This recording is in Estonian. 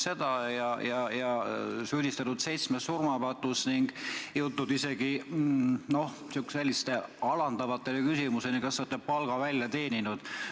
Teid on süüdistatud seitsmes surmapatus ning jõutud isegi selliste alandavate küsimusteni, et kas olete palga välja teeninud.